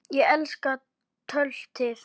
Ég elska töltið.